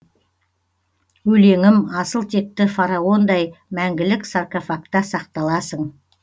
өлеңім асыл текті фараондай мәңгілік саркофакта сақталасың